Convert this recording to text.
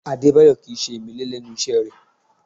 Adébáyọ̀ Kì í ṣe ìmẹ́lẹ́ lẹ́nu iṣẹ́ rẹ̀